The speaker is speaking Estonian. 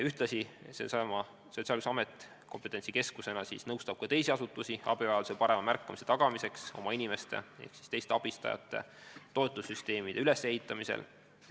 Sotsiaalkindlustusamet nõustab kompetentsikeskusena, nagu öeldud, teisi asutusi, et oma inimeste abivajadust paremini märgataks ja ehitataks üles toetussüsteeme.